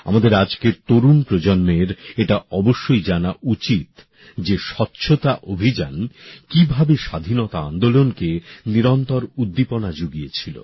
আমাদের আজকের তরুণ প্রজন্মের এটা অবশ্যই জানা উচিত যে স্বচ্ছতা অভিযান কিভাবে স্বাধীনতা আন্দোলনকে নিরন্তর উদ্দীপনা যুগিয়েছিল